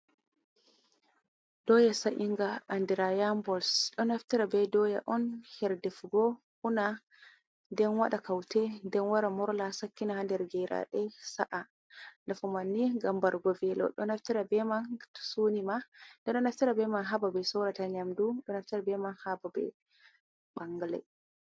Dooya sa’inga andira yambals ɗo nafitara be dooya on her defugo una, den waɗa kaute den wara morla, sakkin ha nder geraɗe sa'a nafuu man ni gam barugo veelo, ɗo naftira beman to sunima ɓe ɗoo naftira beman ha babal sorruki nyamdu, ɓeɗɗoo naftira beman habal bangal.